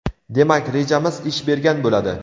demak rejamiz ish bergan bo‘ladi.